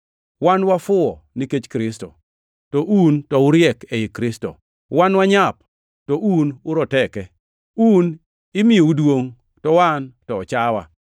Wan wafuwo nikech Kristo, to un to uriek ei Kristo! Wan wanyap, to un to uroteke! Un imiyou duongʼ, to wan to ochawa!